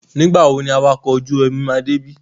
Nígbà wo ni awakọ̀ ojú-omi máa dé ibí?